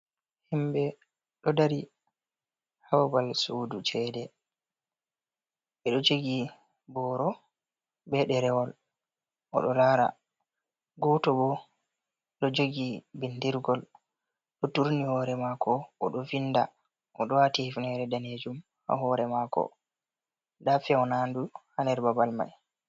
Himɓe ɗo dari ha babal sudu chede, ɓeɗo jogi boro be ɗerewol oɗo lara, goto bo ɗo jogi bindirgol ɗo turni hore mako oɗo vinda oɗo wati hifnere danejum ha hore mako, nda fewnandu ha der babal mai.